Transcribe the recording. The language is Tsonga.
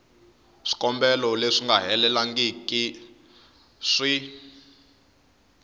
swikombelo leswi nga helelangiku swi